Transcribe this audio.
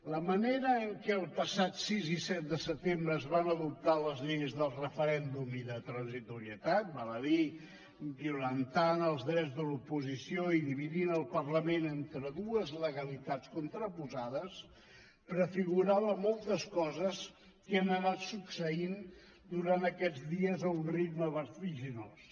la manera en què els passats sis i set de setembre es van adoptar les lleis del referèndum i de transitorietat val a dir violentant els drets de l’oposició i dividint el parlament entre dues legalitats contraposades prefigurava moltes coses que han anat succeint durant aquests dies a un ritme vertiginós